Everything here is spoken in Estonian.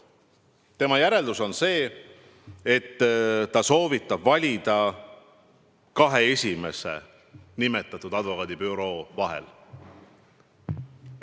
Saatkonna järeldus on see, et ta soovitab valida kahe esimesena nimetatud advokaadibüroo vahel.